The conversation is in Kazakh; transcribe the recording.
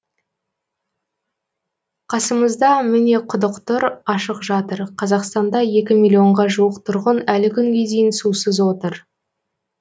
қасымызда міне құдық тұр ашық жатыр қазақстанда екі миллионға жуық тұрғын әлі күнге дейін сусыз отыр